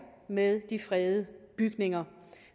med de fredede bygninger